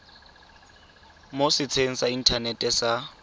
mo setsheng sa inthanete sa